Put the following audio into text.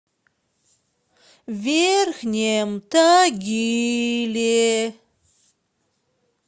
верхнем тагиле